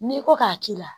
N'i ko k'a k'i la